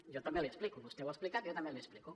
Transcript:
jo també l’hi explico vostè ho ha explicat jo també l’hi explico